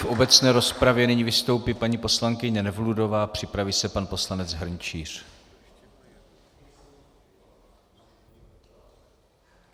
V obecné rozpravě nyní vystoupí paní poslankyně Nevludová, připraví se pan poslanec Hrnčíř.